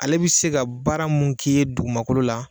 Ale bɛ se ka baara mun k'i ye dugumankolo la